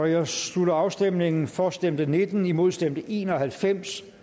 jeg slutter afstemningen for stemte nitten imod stemte en og halvfems